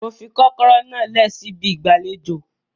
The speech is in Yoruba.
Mo fi kọ́kọ́rọ́ náà lẹ̀ síbi ìgbàlejò